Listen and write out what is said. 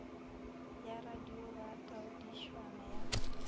ya radio ba taodišwana ya